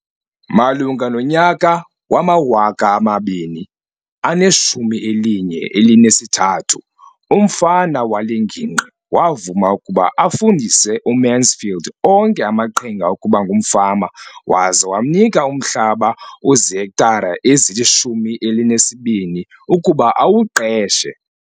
Malunga nonyaka wama-2013, umfama wale ngingqi wavuma ukuba afundise uMansfield onke amaqhinga okuba ngumfama waza wamnika umhlaba ozihektare ezili-12 ukuba awuqeshe.